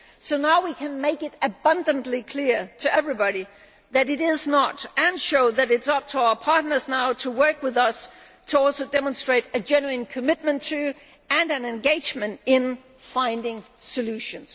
So now we can make it abundantly clear to everybody that this is not the case and show that it is now up to our partners to work with us and to demonstrate a genuine commitment to, and an engagement in, finding solutions.